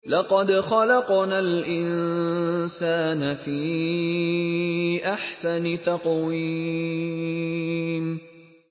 لَقَدْ خَلَقْنَا الْإِنسَانَ فِي أَحْسَنِ تَقْوِيمٍ